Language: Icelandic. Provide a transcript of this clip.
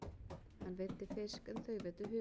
Hann veiddi fisk en þau veiddu humar.